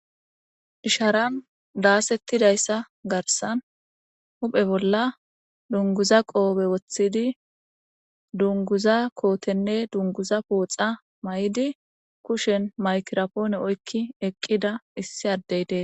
Isharan daasettidayssa garsan huphe bolla dunguza qoobe woththidi dunguza kootenne dunguza pooxa may7idi kushen maykirapoone oykki eqqida issi addey dee